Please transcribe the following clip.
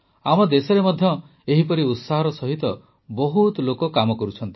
ଆମ ଦେଶରେ ମଧ୍ୟ ଏହିପରି ଉତ୍ସାହର ସହିତ ବହୁତ ଲୋକ କାମ କରୁଛନ୍ତି